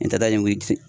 N ta ye n wuli